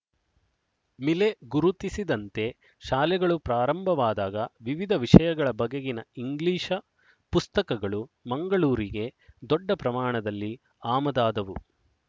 ಮಿಲೆ ಗುರುತಿಸಿದಂತೆ ಶಾಲೆಗಳು ಪ್ರಾರಂಭವಾದಾಗ ವಿವಿಧ ವಿಷಯಗಳ ಬಗೆಗಿನ ಇಂಗ್ಲಿಶ ಪುಸ್ತಕಗಳು ಮಂಗಳೂರಿಗೆ ದೊಡ್ಡ ಪ್ರಮಾಣದಲ್ಲಿ ಆಮದಾದವು